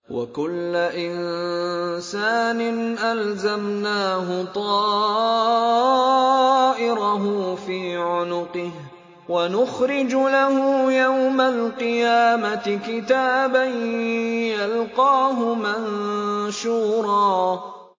وَكُلَّ إِنسَانٍ أَلْزَمْنَاهُ طَائِرَهُ فِي عُنُقِهِ ۖ وَنُخْرِجُ لَهُ يَوْمَ الْقِيَامَةِ كِتَابًا يَلْقَاهُ مَنشُورًا